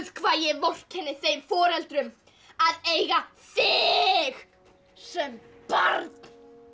hvað ég vorkenni þeim foreldrum að eiga þig sem barn